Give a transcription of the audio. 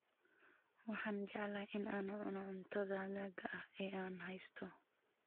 Waxaan jeclahay in aan cuno cuntada hadhaaga ah ee aan haysto.